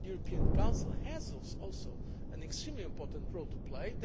all the institutions. The European Council has also an extremely important